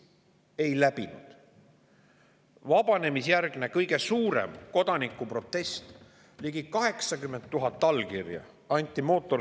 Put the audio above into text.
Vabanemisjärgse kõige suurem kodanikuprotest: mootorsõidukimaksu vastu anti ligi 80 000 allkirja.